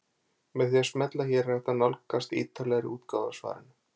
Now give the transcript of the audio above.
Með því að smella hér er hægt að nálgast ítarlegri útgáfu af svarinu.